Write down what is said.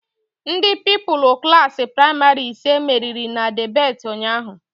Ndị Pupilụ Klassị pramarị ise meriri na debeti ụnyaahụ